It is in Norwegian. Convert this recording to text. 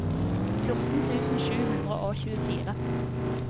fjorten tusen sju hundre og tjuefire